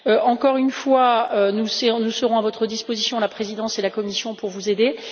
Encore une fois, nous serons à votre disposition, la présidence et la Commission, pour vous aider.